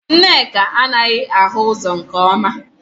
Nneka anaghị ahụ ụzọ nke ọma